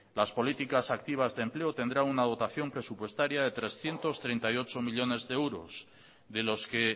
las políticas activas de empleo tendrán una dotación presupuestaria de trescientos treinta y ocho millónes de euros de los que